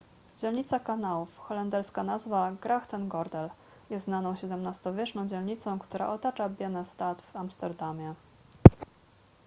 dzielnica kanałów holenderska nazwa: grachtengordel jest znaną xvii-wieczną dzielnicą która otacza biennestad w amsterdamie